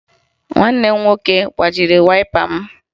Nwanne m nwoke gbajiri wayịpa m